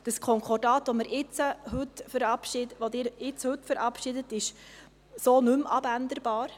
Das Konkordat, welches Sie heute verabschieden, ist so nicht mehr veränderbar.